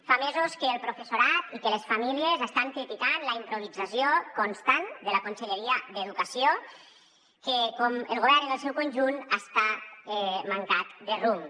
fa mesos que el professorat i que les famílies estan criticant la improvisació constant de la conselleria d’educació que com el govern en el seu conjunt està mancada de rumb